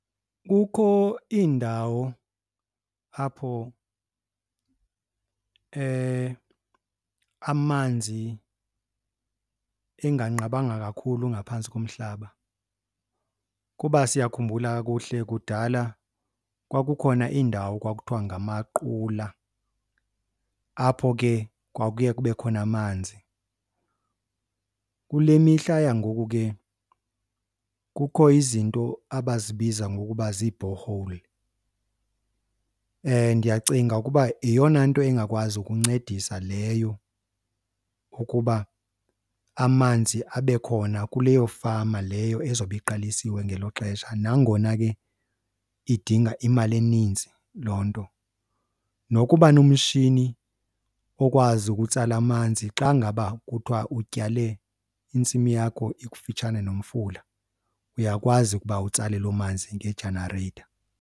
Kukho iindawo apho amanzi enganqabanga kakhulu ngaphantsi komhlaba. Ukuba siyakhumbula kakuhle kudala kwakukhona iindawo kwakuthiwa ngamaqula apho ke kwakuye kube khona amanzi. Kule mihla yangoku ke kukho izinto abazibiza ngokuba zii-borehole. Ndiyacinga ukuba yeyona nto ingakwazi ukuncedisa leyo ukuba amanzi abe khona kuleyo fama leyo ezobe iqalisiwe ngelo xesha, nangona ke idinga imali eninzi loo nto. Nokuba nomshini okwazi ukutsala amanzi xa ngaba kuthiwa utyale intsimi yakho ikufitshane nomfula uyakwazi ukuba utsale loo manzi nge-generator.